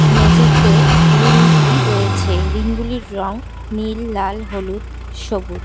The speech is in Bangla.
মেঝেতে রিংগুলি রয়েছে এই রিংগুলির রং নীল লাল হলুদ সবুজ।